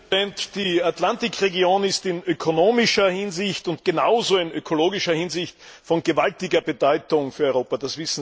Herr Präsident! Die Atlantikregion ist in ökonomischer Hinsicht und genauso in ökologischer Hinsicht von gewaltiger Bedeutung für Europa.